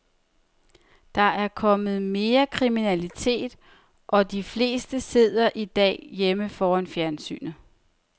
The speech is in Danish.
Der er kommet mere kriminalitet, og de fleste sidder i dag hjemme foran fjernsynet.